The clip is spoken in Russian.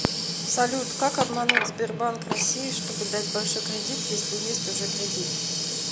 салют как обмануть сбербанк россии чтобы дать большой кредит если есть уже кредит